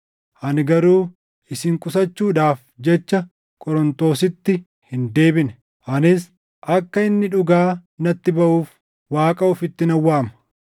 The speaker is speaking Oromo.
Ani garuu isin qusachuudhaaf jecha Qorontositti hin deebine; anis akka inni dhugaa natti baʼuuf Waaqa ofitti nan waama.